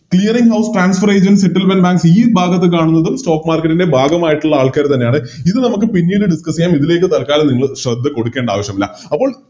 ഭാഗത്ത് കാണുന്നതും Stock market ൻറെ ഭാഗമായിട്ട്ള്ള ആൾക്കാര് തന്നെയാണ് ഇത് നമുക്ക് പിന്നീട് Discuss ചെയ്യാം ഇതിലേക്ക് തൽക്കാലം നിങ്ങള് ശ്രദ്ധ കൊടുക്കേണ്ട ആവശ്യമില്ല അപ്പോം